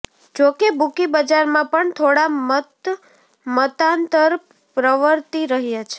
જોકે બુકી બજારમાં પણ થોડા મતમતાંતર પ્રવર્તી રહ્યા છે